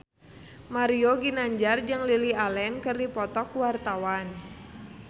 Mario Ginanjar jeung Lily Allen keur dipoto ku wartawan